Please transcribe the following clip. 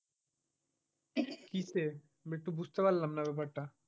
কিসে মানে তো বুঝতে পারলাম না ব্যাপার টা?